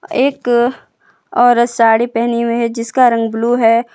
एक औरत साड़ी पहनी हुई है जिसका रंग ब्लू है।